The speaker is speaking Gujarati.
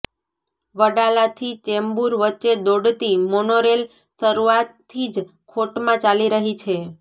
વડાલાથી ચેમ્બુર વચ્ચે દોડતી મોનોરેલ શરૂઆતથી જ ખોટમાં ચાલી રહી છે